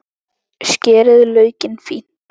Skerið laukinn fínt.